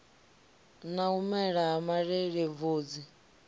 na u mela ha malelebvudzi